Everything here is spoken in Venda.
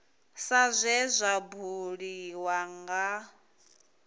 sa zwe zwa buliwa nga